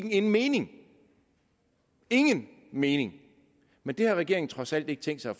ingen mening ingen mening men det har regeringen trods alt ikke tænkt sig at